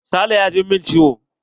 Sale ya jin min ciwo.